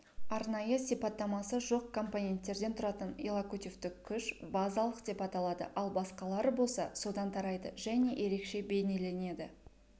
арнайы сипаттамасы жоқ компоненттерден тұратын иллокутивтік күш базалық деп аталады ал басқалары болса содан тарайды және ерекше бейнеленеді